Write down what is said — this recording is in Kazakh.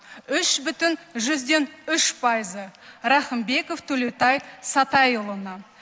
үш бүтін жүзден үш пайызы рақымбеков төлеутай сатайұлына